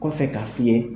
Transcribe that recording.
Kɔfɛ k'a f'i ye